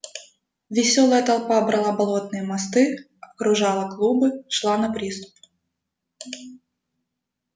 весёлая толпа брала болотные мосты окружала клубы шла на приступ